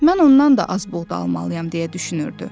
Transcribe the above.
Mən ondan da az buğda almalıyam deyə düşünürdü.